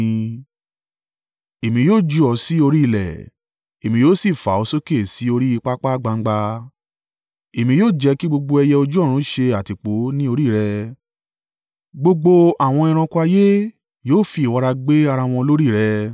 Èmi yóò jù ọ́ sí orí ilẹ̀ èmi yóò sì fà ọ́ sókè sí orí pápá gbangba. Èmi yóò jẹ́ kí gbogbo ẹyẹ ojú ọ̀run ṣe àtìpó ní orí rẹ. Gbogbo àwọn ẹranko ayé yóò fi ìwọra gbé ara wọn lórí rẹ.